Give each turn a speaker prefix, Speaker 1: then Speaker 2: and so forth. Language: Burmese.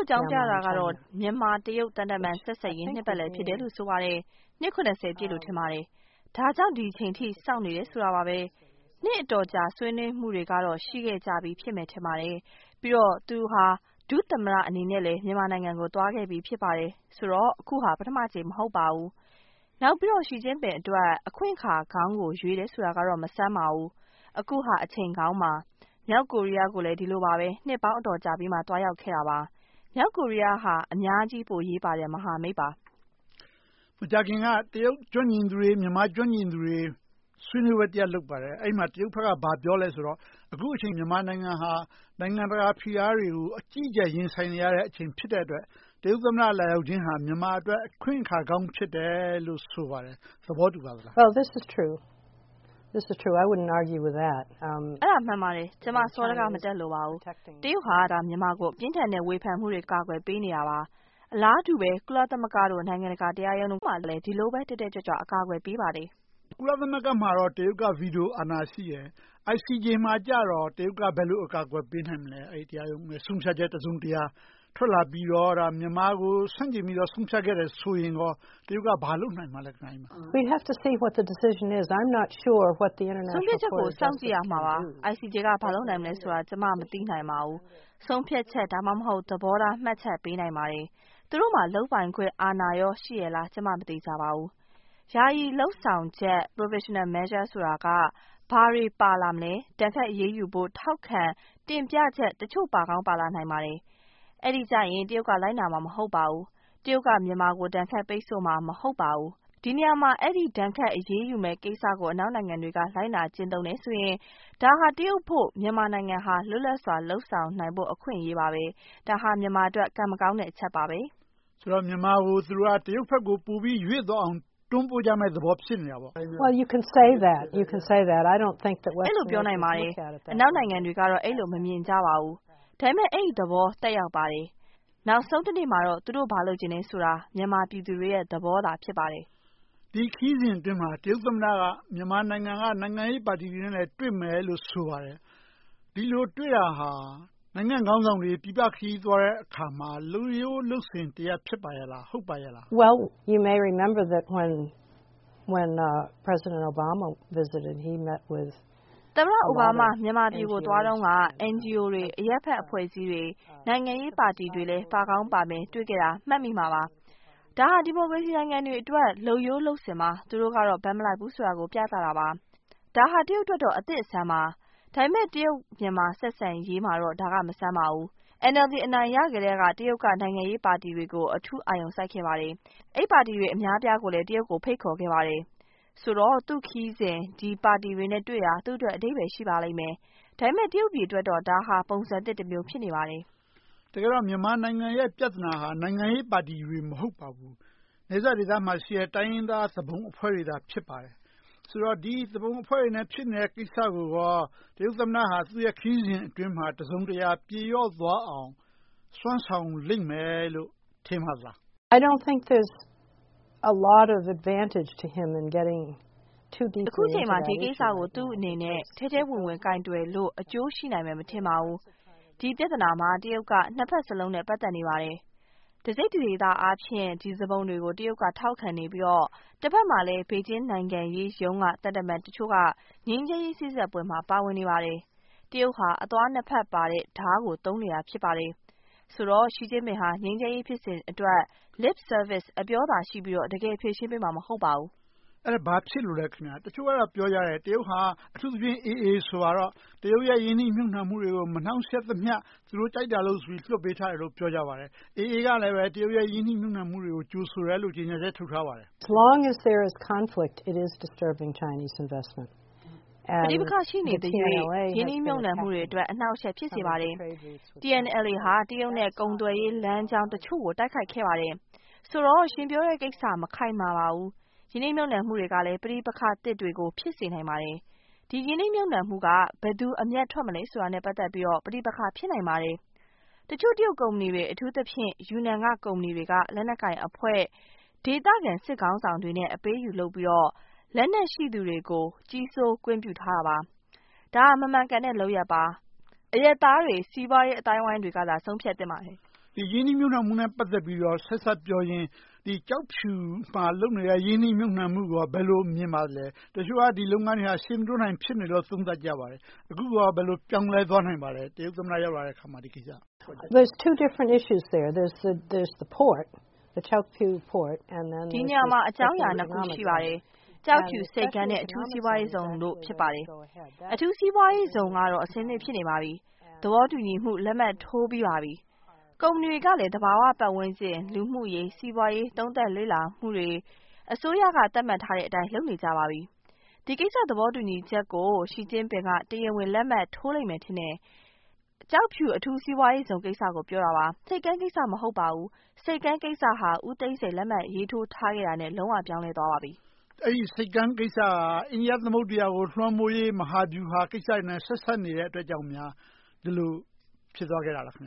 Speaker 1: ့အကြောင်းပြတာကတော့ မြန်မာ-တရုတ် သံတမန်ဆက်ဆံရေး နှစ်ပတ်လည်လို့ ဆိုပါတယ်။ နှစ် ပြည့်လို့ ထင်ပါတယ်။ ဒါကြောင့် ဒီအချိန်အထိ စောင့်နေတယ်ဆိုပါတယ်။ နှစ်အတော်ကြာ ဆွေးနွေးမှုတွေကတော့ ရှိခဲ့ကြပြီ ထင်ပါတယ်။ ပြီးတော့ သူဟာ ဒုသမ္မတအနေနဲ့လဲ မြန်မာနိုင်ငံကို သွားခဲ့ပြီ ဖြစ်ပါတယ်။ ဆိုတော့ အခုဟာ ပထမအကြိမ် မဟုတ်ပါဘူး။ နောက်ပြီးတော့ Xi Jingpin အတွက် အခွင့်အခါကောင်းကို ရွေးတယ်ဆိုတာကတော့ မဆန်းပါဘူး။ အခုဟာ အချိန်ကောင်းပါ။ မြောက်ကိုရီးယားကိုလည်း ဒီလိုပါပဲ။ နှစ်ပေါင်းအတော်ကြာပြီးမှ သွားရောက်ခဲ့တာပါ။ မြောက်ကိုရီးယားဟာ အများကြီးအရေးပါတဲ့ မဟာမိတ်ပါ
Speaker 2: ။ မကြာခင်က တရုတ်အရေးကျွမ်းကျင်သူတွေ၊ မြန်မာ့အရေးကျွမ်းကျင်သူတွေ ဆွေးနွေးပွဲ လုပ်ပါတယ်။ အဲဒီမှာ တရုတ်ဘက်က ဘာပြောသလဲဆိုတော့ အခုအချိန် မြန်မာနိုင်ငံဟာ နိုင်ငံတကာဖိအားတွေကို အကြီးအကျယ် ရင်ဆိုင်နေရတဲ့အချိန် ဖြစ်တဲ့အတွက် တရုတ်သမ္မတ လာရောက်ခြင်းဟာ မြန်မာအတွက် အခွင့်အခါကောင်း ဖြစ်တယ်လို့ ဆိုပါ
Speaker 1: တ
Speaker 3: ယ်။ သဘောတူပါသလား။ အ
Speaker 1: ဲဒါမှန်ပါတယ်။ ကျမ စောဒက မတတ်လိုပါဘူး။ တရုတ်ဟာ မြန်မာကို ပြင်းထန်တဲ့ဝေဖန်မှုတွေက ကာကွယ်ပေးနေတာပါ။ အလားတူပဲ ကုလသမဂ္ဂ၊ နိုင်ငံတကာတရားရုံးတို့မှာ ဒီလိုပဲ တက်တက်ကြွကြွ ကာကွယ်ပေးပါတယ်။
Speaker 2: ကုလသမဂ္ဂမှာတော့ တရုတ်က ဗီတိုအာဏာ ရှိတယ်။ ICJ မှာတော့ တရုတ်က ဘယ်လိုကာကွယ်ပေးနိုင်မလဲ။ တရားရုံးက ဆုံးဖြတ်ချက် တစုံတရာထွက်လာပြီးတော့ မြန်မာကို ဆန့်ကျင်ပြီးတော့ ဆုံးဖြတ်ခဲ့တယ်ဆိုရင် တရုတ်က ဘာလုပ်ပေးနိုင်မလဲ။ ဆ
Speaker 3: ုံးဖြတ်ချက်ကို စောင့်ကြည့်ရမ
Speaker 1: ှာပါ။ ICJ က ဘာလုပ်နိုင်မလဲဆိုတာ ကျမ မသိနိုင်ပါဘူး။ ဆုံးဖြတ်ချက်၊ ဒါမှမဟုတ် သဘောထားမှတ်ချက်ပေးနိုင်ပါတယ်။ သူတို့မှာ လုပ်ပိုင်ခွင့်အာဏာကို ရှိရဲ့လား ကျမ မသေချာပါဘူး။ ယာယီလုပ်ဆောင်ချက် Provisional Measures က ဘာတွေပါလာမလဲ။ ဒဏ်ခတ်အရေးယူဖို့ ထောက်ခံတင်ပြချက် တချို့ပါကောင်းပါလာပါလိမ့်မယ်။ အဲဒီကြရင် တရုတ်က လိုက်နာမှာ မဟုတ်ပါဘူး။ တရုတ်က မြန်မာကို ဒဏ်ခတ်ပိတ်ဆို့မှာ မဟုတ်ပါဘူး။ ဒီနေရာမှာ ဒဏ်ခတ်အရေးယူမယ့်ကိစ္စကို အနောက်နိုင်ငံတွေက လိုက်နာကျင့်သုံးတယ်ဆိုရင် ဒါဟာ တရုတ်အဖို့ မြန်မာနိုင်ငံဟာ လွတ်လပ်စွာ လုပ်ဆောင်နိုင်ဖို့ အခွင့်အရေးပါပဲ။ ဒါဟာ မြန်မာအတွက် ကံမကောင်းတဲ့အချက်ပါပဲ
Speaker 2: ။ ဆိုတော့ မြန်မာကို တရုတ်ဘက်ကို ပိုပြီးရွေ့သွားအောင် တွန်းပို့
Speaker 3: ကြမယ့်သဘော ဖြစ်နေတာပေါ့။ အဲဒီလိုပြောနိုင်ပါတယ်
Speaker 1: ။ အနောက်နိုင်ငံတွေကတော့ အဲဒီလို မမြင်ကြပါဘူး ဒါပေမဲ့ အဲဒီသဘောသက်ရောက်ပါတယ်။ နောက်ဆုံးတနေ့မှာတော့ သူတို့ဘာလိုချင်သလဲဆိုတာ မြန်မာပြည်သူတွေရဲ့ သဘောသာ ဖြစ်ပါတယ်။ ဒ
Speaker 2: ီခရီးစဉ်အတွင်းမှာ တရုတ်သမ္မတက မြန်မာနိုင်ငံက နိုင်ငံရေးပါတီတွေနဲ့လည်း တွေ့မယ်လို့ ဆိုပါတယ်။ ဒီလိုတွေ့တာဟာ နိုင်ငံခေါင်းဆောင်တွေ ပြည်ပခရီးသွားတဲ့အခါမှာ လုပ်ရိုးလုပ်စဉ်တရပ် ဖြစ်ပါ့ရဲလား၊ ဟုတ်ပါရဲ့လာ
Speaker 3: း။
Speaker 1: သမ္မတအိုဘားမား မြန်မာပြည်ကိုသွားတုန်းက NGO တွေ၊ အရပ်ဖက်အဖွဲ့အစည်းတွေ၊ နိုင်ငံရေးပါတီတွေလည်းပါကောင်းပါမယ် တွေ့ခဲ့တာကို မှတ်မိမှာပါ။ ဒါဟာ ဒီမိုကရေစီနိုင်ငံတွေအတွက် လုပ်ရိုးလုပ်စဉ်ပါ။ သူတို့ကတော့ ဘက်မလိုက်ဘူးဆိုတာကို ပြသတာပါ။ ဒါဟာ တရုတ်အတွက်တော့ အသစ်အဆန်းပါ။ ဒါပေမဲ့ တရုတ်-မြန်မာ ဆက်ဆံရေးမှာတော့ ဒါက မဆန်းပါဘူး။ NLD အနိုင်ရကတည်းက တရုတ်က နိုင်ငံရေးပါတီတွေကို အထူးအာရုံစိုက်ခဲ့ပါတယ်။ အဲဒီပါတီတွေ အများအပြားကိုလည်း တရုတ်ကို ဖိတ်ခေါ်ခဲ့ပါတယ်။ ဆိုတော့ သူ့ခရီးစဉ်မှာ ဒီပါတီတွေနဲ့တွေ့တာ သူ့အတွက် အဓိပ္ပါယ်ရှိပါလိမ့်မယ်။ ဒါပေမဲ့ တရုတ်ပြည်အတွက်တော့ ဒါဟာပုံစံသစ်တမျိုး ဖြစ်နေပါတယ်။ တကယ်တော့ မြန်မာနိုင်ငံ
Speaker 2: ရဲ့ ပြဿနာဟာ နိုင်ငံရေးပါတီတွေ မဟုတ်ပါဘူး။ နယ်စပ်ဒေသမှာရှိတဲ့ တိုင်းရင်းသားသူပုန်အဖွဲ့တွေသာ ဖြစ်ပါတယ်။ ဆိုတော့ သူပုန်အဖွဲ့တွေနဲ့ ဖြစ်နေတဲ့ကိစ္စကို တရုတ်သမ္မတက သူ့ခရီးစဉ်အတွင်းမှာ တစုံတရာ ပြေပျောက်သွားအောင် စွမ်းဆောင်လိမ့
Speaker 3: ်မယ်လို့ ထင်ပါသလား။ အခုအချိန်မှာ ဒီကိစ္စ
Speaker 1: ကို ထဲထဲဝင်ဝင် ကိုင်တွယ်လို့ အကျိုးရှိနိုင်မယ် မထင်ပါဘူး။ ဒီပြဿနာမှာ တရုတ်က နှစ်ဘက်စလုံးနဲ့ ပတ်သက်နေပါတယ်။ တစိတ်တဒေသအားဖြင့် ဒီသူပုန်တွေကို ထောက်ခံနေပြီးတော့ တဘက်မှာလဲ ဘေဂျင်းနိုင်ငံရေးရုံးက သံတမန်တချို့က ငြိမ်းချမ်းရေးစေ့စပ်ပွဲတွေမှာ ပါဝင်နေပါတယ်။ တရုတ်ဟာ အသွားနှစ်ဘက်ပါတဲ့ဒါးကို သုံးနေတာ ဖြစ်ပါတယ်။ ဆိုတော့ Xi Jingpin ဟာ ငြိမ်းချမ်းရေးဖြစ်စဉ်အတွက် Lip service အပြောသာရှိပြီးတော့ တကယ်ဖြေရှင်းပေးမှာ မဟုတ်ပါဘူး။
Speaker 2: အဲဒါဘာဖြစ်လို့လဲ။ တချို့ကပြောကြတယ်။ တရုတ်ဟာ အထူးသဖြင့် AA ဆိုပါတော့ တရုတ်ရဲ့ ရင်းနှီးမြုပ်နံှမှုတွေကို မနှောင့်ယှက်သမျှ သူတို့ကြိုက်တာလုပ်လို့ လွှတ်ပေးထားတယ်လို့ ပြောပါတယ်။ AA ကလည်း တရုတ်ရဲ့ ရင်းနှီးမြုပ်နံှမှုတွေကို ကြိုဆိုတယ်လို့ ကြေညာချက် ထုတ်ထားပါတယ်
Speaker 3: ။ ပဋိပက္ခ ရှိနေသရွေ့ ရင်းနှီးမြုပ်နံှမှု
Speaker 1: တွေအတွက် အနှောင့်အယှက် ဖြစ်စေပါတယ်။ TNLA ဟာ တရုတ်နဲ့ ကုန်သွယ်ရေးလမ်းကြောင်းတချို့ကို တိုက်ခိုက်ခဲ့ပါတယ်။ ဆိုတော့ ရှင်ပြောတဲ့ကိစ္စ မခိုင်မာပါဘူး။ ရင်းနှီးမြုပ်နံှမှုတွေကလည်း ပဋိပက္ခသစ်တွေကို ဖြစ်စေနိုင်ပါတယ်။ ဒီရင်းနှီးမြုပ်နံှမှုက ဘယ်သူတွေ အမြတ်ထွက်မလဲဆိုတာနဲ့ ပတ်သက်ပြီးတော့ ပဋိပက္ခ ဖြစ်နိုင်ပါတယ်။ တချို့တရုတ်ကုမ္ပဏီတွေ အထူးသဖြင့် ယူနန်က ကုမ္ပဏီတွေက လက်နက်ကိုင်အဖွဲ့၊ ဒေသခံစစ်ခေါင်းဆောင်တွေနဲ့ အပေးအယူလုပ်ပြီးတော့ လက်နက်ရှိသူတွေကို ကြီးစိုးကွင်းပြုထားတာပါ။ ဒါဟာ မမှန်ကန်တဲ့ လုပ်ရပ်ပါ။ အရပ်သားတွေ၊ စီးပွားရေးအသိုင်းအဝိုင်းတွေကသာ ဆုံးဖြတ်သင့်ပါတယ်
Speaker 2: ။ ရင်းနှီးမြုပ်နံှမှုနဲ့ ဆက်စပ်ပြောရင် ကျောက်ဖြူမှာလုပ်နေတဲ့ ရင်းနှီးမြုပ်နံှမှုကို ဘယ်လိုမြင်ပါသလဲ။ တချို့က ဒီလုပ်ငန်းတွေက ရှေ့မတိုးနိုင် ဖြစ်နေတယ်လို့ သုံးသပ်ကြပါတယ်။ အခုကော ဘယ်လိုပြောင်းလဲသွားနိုင်ပါသလဲ။ တရုတ်သမ္မတ ရောက်လာတဲ့အခါ ဒီကိစ္စ။ ဒီန
Speaker 3: ေရာမှာ အကြောင်းအရာနှစ်ခု ရှိပါတယ်
Speaker 1: ။ ကျောက်ဖြူဆိပ်ကမ်းနဲ့ အထူးစီးပွားရေးဇုန်တို့ ဖြစ်ပါတယ်။ အထူးစီးပွားရေးဇုန်ကတော့ အဆင်သင့် ဖြစ်နေပါပြီ။ သဘောတူညီမှုလက်မှတ် ထိုးပြီးပါပြီ။ ကုမ္ပဏီတွေကလည်း သဘာဝပတ်ဝန်းကျင်၊ လူမှုရေး၊ စီးပွားရေး သုံးသပ်လေ့လာမှုတွေ၊ အစိုးရက သတ်မှတ်ထားတဲ့အတိုင်း လုပ်နေကြပါပြီ။ ဒီကိစ္စ သဘောတူညီချက်ကို Xi Jingpin က တရားဝင်လက်မှတ်ထိုးလိမ့်မယ် ထင်တယ်။ ကျောက်ဖြူအထူးစီးပွားရေးဇုန်ကိစ္စကို ပြောတာပါ။ ဆိပ်ကမ်းကိစ္စ မဟုတ်ပါဘူး။ ဆိပ်ကမ်းကိစ္စက ဦးသိန်းစိန်လက်မှတ်ထိုးခဲ့တာနဲ့ လုံးဝပြောင်းလဲသွားခဲ့ပါပြီ
Speaker 2: ။ အဲဒီဆိပ်ကမ်းကိစ္စက အိန္ဒိယသမုဒ္ဒရာကို လွှမ်းမိုးရေး မဟာဗျူဟာကိစ္စတွေနဲ့ ဆက်စပ်နေတာကြောင့် ဒီလိုဖြစ်သွားခဲ့တာလား။